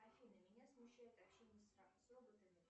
афина меня смущает общение с с роботами